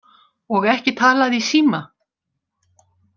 Og ekki talað í síma?